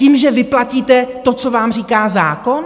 Tím, že vyplatíte to, co vám říká zákon?